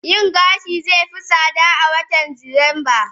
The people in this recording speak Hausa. yin gashi zai fi tsada a watan Disamba